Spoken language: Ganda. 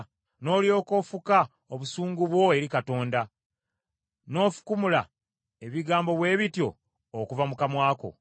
n’olyoka ofuka obusungu bwo eri Katonda, n’ofukumula ebigambo bwe bityo okuva mu kamwa ko?